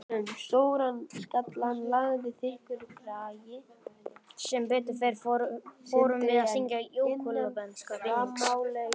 Sem betur fer vorum við að syngja júgóslavneska vinnings